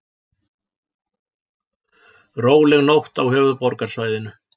Róleg nótt á höfuðborgarsvæðinu